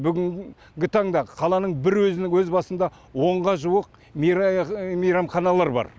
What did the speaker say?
бүгінгі таңда қаланың бір өзінің өз басында онға жуық мейрамханалар бар